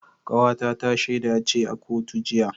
Kawata ta shaida ce a kotu jiya